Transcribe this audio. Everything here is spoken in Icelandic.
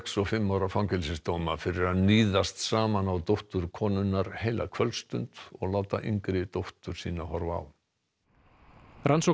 fimm ára fangelsisdóma fyrir að níðast saman á dóttur konunnar heila kvöldstund og láta yngri dóttur sína horfa á rannsókn